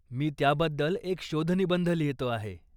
मी त्याबद्दल एक शोधनिबंध लिहितो आहे.